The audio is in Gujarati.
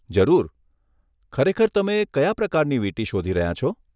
જરૂર, ખરેખર તમે કયા પ્રકારની વીંટી શોધી રહ્યાં છો?